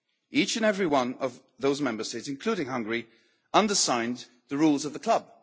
Each and every one of those Member States, including Hungary, under signed the rules of the club.